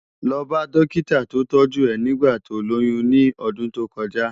Lò bá dòkitá tó tòjú è nigbá tó lóyùn ni òdùn tókòjá